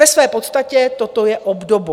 Ve své podstatě toto je obdobou.